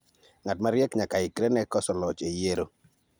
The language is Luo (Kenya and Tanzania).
Ng'at mariek nyakaikre ne koso loch e yiero.